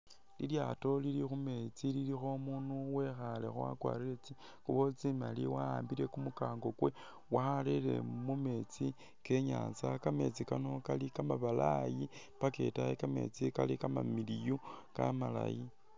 Lilyaato lili khumeetsi lilikho umundu wekhalekho wakwarile tsingubo tsimali wahambile kumukango kwe warele mumetsi kenyatsa kameetsi kano kali kamabalayi paka itaayi kametsi kali kamamiliyu kamalayi